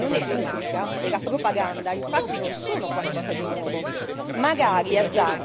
La manipolazione dell'opinione pubblica e la propaganda non sono infatti qualcosa di nuovo.